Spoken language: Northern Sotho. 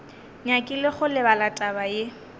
nyakile go lebala taba ye